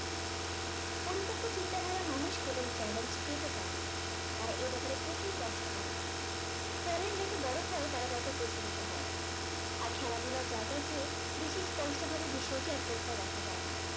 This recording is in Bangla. পরিপক্ক চিন্তাধারার মানুষ কেবল challenge নিতে চাই না তারা এব্যাপারে প্রচুর কষ্ট করে challenge যত বড়ো হয় তারা তত প্রসারিত হয় আর খেলা ধুলার জায়গার চেয়ে বেশি স্পষ্ট ভাবে বিষয়টি আর কোথাও দেখা যাই না